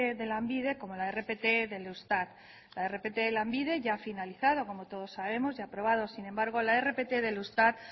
de lanbide como la rpt del eustat la rpt de lanbide ya ha finalizado como todos sabemos y aprobado sin embargo la rpt del eustat